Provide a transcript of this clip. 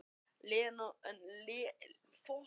Leónóra, hvernig verður veðrið á morgun?